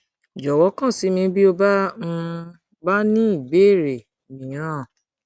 jọwọ kàn sí mi bí o um bá ní ìbéèrè mìíràn ní ìbéèrè mìíràn